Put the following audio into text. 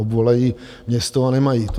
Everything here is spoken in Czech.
Obvolají město a nemají to.